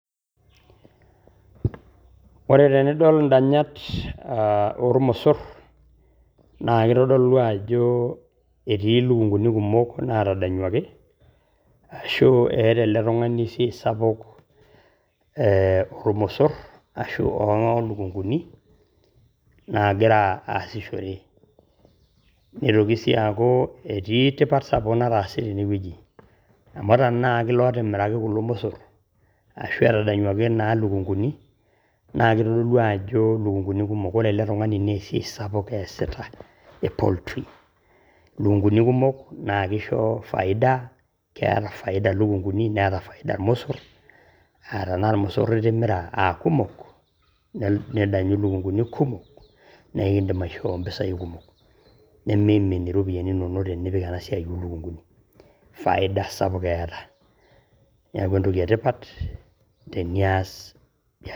Ore tenidol ndanyat olmosur naa keitodolu ajo etii elukunkuni kumok naadanyuaki ashu eeta ale tungani esiaai sapuk olmosur ashu oo lukunkuni naagira aashishore, neitoki sii aaku etii tipat sapuk nataase tene weji, amu tenaa etimiraki kulo musurr ashu etadanyuaki naa lukunkuni naa keitodolu ajo lukunkuni kumok ,ore ale tungani nee esiaai sapuk eeasita e poultry lukunkuni kumok naa keisho efaida keeta faida lukunkuni ,neeeta faida ilmusurr aa tanaa lmusuri itimira aakumok ,nidanyu lukunkuni kumok naa ekeidim aishoo mpesai kumok, nemeimin iropiyiani inono tinipika ena siaai olukunkun, faida sapuk eeta ,neaku entoki etipat teniass.